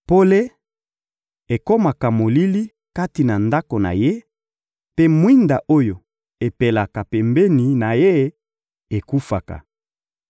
Pole ekomaka molili kati na ndako na ye, mpe mwinda oyo epelaka pembeni na ye ekufaka.